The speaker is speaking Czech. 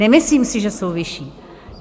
Nemyslím si, že jsou vyšší.